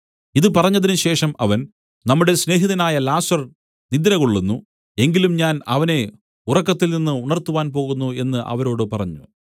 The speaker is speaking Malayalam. ഇതു പറഞ്ഞതിനുശേഷം അവൻ നമ്മുടെ സ്നേഹിതനായ ലാസർ നിദ്രകൊള്ളുന്നു എങ്കിലും ഞാൻ അവനെ ഉറക്കത്തിൽനിന്ന് ഉണർത്തുവാൻ പോകുന്നു എന്നു അവരോട് പറഞ്ഞു